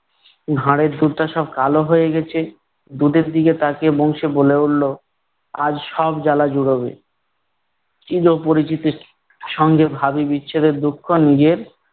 ভাঁড়ের দুধটা সব কালো হয়ে গেছে। দুধের দিকে তাকিয়ে বংশী বলে উঠলো- আজ সব জ্বালা জুড়োবে। চির পরিচিতির সঙ্গে ভাবি বিচ্ছেদের দুঃখ নিজের